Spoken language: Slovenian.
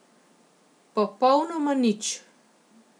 Popolnoma nič.